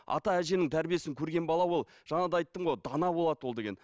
ата әженің тәрбиесін көрген бала ол жаңа да айттым ғой дана болады ол деген